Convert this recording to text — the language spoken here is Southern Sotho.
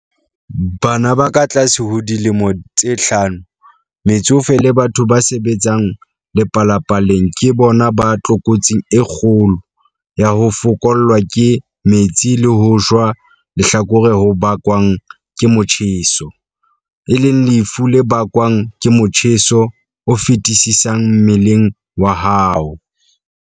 Bana ba katlase ho dilemo tse hlano, metsofe le batho ba sebetsang lepalapaleng ke bona ba tlokotsing e kgolo ya ho fokollwa ke metsi le ho shwa lehlakore ho bakwang ke motjheso, e leng lefu le bakwang ke motjheso o feti-sisang mmeleng wa hao.